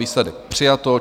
Výsledek: přijato.